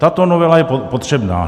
Tato novela je potřebná.